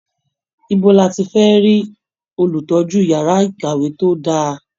Ibo ni a ti fẹ́ rí Olùtọ́jú yàrá ìkàwé tó dá a?